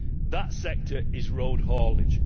That sector is road haulage.